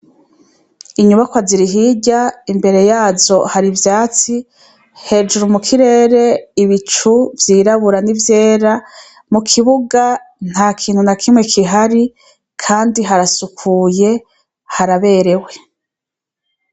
Inyubakwa ziri hirya, imbere yazo hari ivyatsi. Hejuru mu kirere, ibicu vy'irabura n'ivyera. Mu kibuga, nta kintu na kimwe kihari kandi harasukuye, haraberewe.